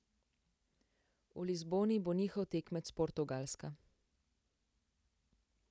V Lizboni bo njihov tekmec Portugalska.